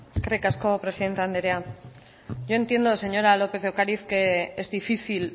eskerrik asko presidente andrea yo entiendo señora lópez de ocariz que es difícil